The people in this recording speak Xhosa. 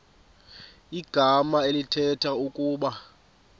igama elithetha ukuba